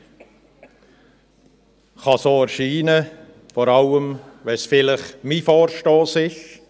Dies kann so erscheinen, vor allem, wenn es vielleicht mein Vorstoss ist.